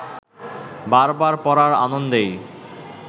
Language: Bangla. বার বার পড়ার আনন্দেই